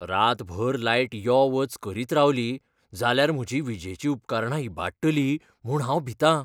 रातभर लायट यो वच करीत रावली जाल्यार म्हजी विजेचीं उपकरणां इबाडटलीं म्हूण हांव भितां.